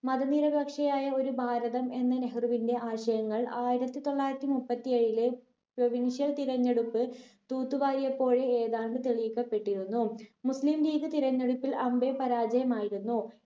മതനിരപക്ഷയായ ഒരു ഭാരതം എന്ന നെഹ്‌റുവിന്റെ ആശയങ്ങൾ ആയിരത്തി തൊള്ളായിരത്തി മുപ്പത്തി ഏഴിലെ provincial തിരഞ്ഞെടുപ്പ് തൂത്തു വാരിയപ്പോൾ ഏതാണ്ട് തെളിയിക്കപ്പെട്ടിരുന്നു മുസ്ലിം league തിരഞ്ഞെടുപ്പിൽ അമ്പേ പരാജയമായിരുന്നു.